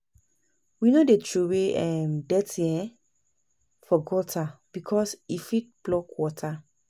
We no dey troway um dirty um for gutter, because e fit block water.